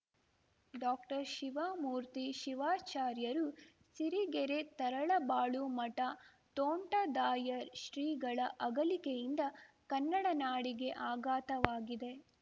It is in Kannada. ಡಾಕ್ಟರ್ಶಿವಮೂರ್ತಿ ಶಿವಾಚಾರ್ಯರು ಸಿರಿಗೆರೆ ತರಳಬಾಳು ಮಠ ತೋಂಟದಾರ್ಯ ಶ್ರೀಗಳ ಅಗಲಿಕೆಯಿಂದ ಕನ್ನಡನಾಡಿಗೆ ಆಘಾತವಾಗಿದೆ